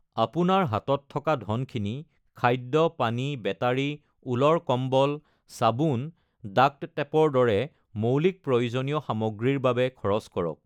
আপোনাৰ হাতত থকা ধনখিনি খাদ্য, পানী, বেটাৰী, উলৰ কম্বল, চাবোন, ডাক্ট টেপৰ দৰে মৌলিক প্ৰয়োজনীয় সামগ্ৰীৰ বাবে খৰচ কৰক।